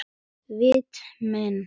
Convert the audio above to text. Viti menn!